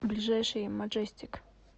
ближайший маджестик